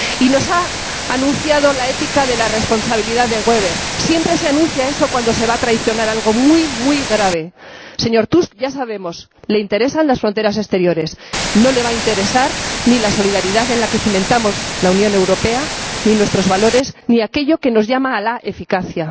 Y nos ha anunciado la ética de la responsabilidad de Weber siempre se anuncia eso cuando se va a traicionar algo muy muy grave. Ya sabemos, señor Tusk, que le interesan las fronteras exteriores. No le van a interesar ni la solidaridad en la que cimentamos la Unión Europea ni nuestros valores ni aquello que nos llama a la eficacia.